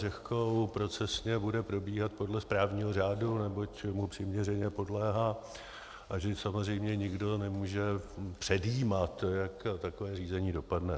Řehkou procesně bude probíhat podle správního řádu, neboť mu přiměřeně podléhá, a že samozřejmě nikdo nemůže předjímat, jak takové řízení dopadne.